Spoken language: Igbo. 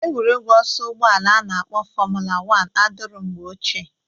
Egwuregwu ọsọ ụgbọala a na-akpọ fọmụla wan adịrọ mgbe ochie.